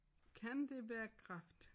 Kan det være kræft?